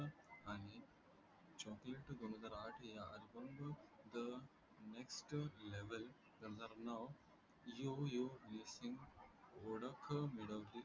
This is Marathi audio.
अभ न द Next level नाव यो यो हनि सिंग ओळख मिळवली आहे